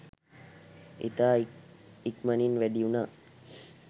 ඉතා ඉක්මනින් වැඩි වුනා